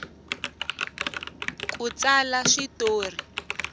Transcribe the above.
ku tsala swi tori